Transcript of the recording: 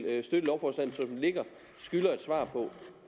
ligger skylder et svar på